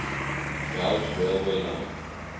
gauge railway line